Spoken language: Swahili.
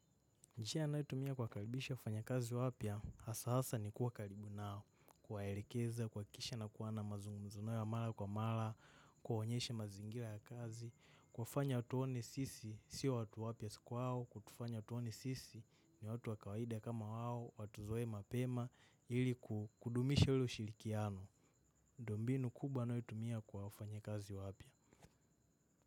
Njia anayotumia kuwakaribisha wafanyakazi wapya, hasa hasa ni kuwa karibu nao, kuwaelekeza, kuhakikisha na kuwa na mazungumzo nao ya mara kwa mara, kuwaonyeshe mazingira ya kazi, kuwafanya watuone sisi, si watu wapya kwao, kutufanya watuone sisi, ni watu wa kawaida kama wao, watuzoe mapema, ili kudumisha ule ushirikiano. Ndio mbinu kubwa anayotumia kwa wafanyakazi wapya.